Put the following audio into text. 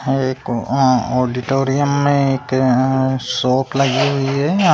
एक ऑडिटोरीयम में एक शॉप लगी हुई है--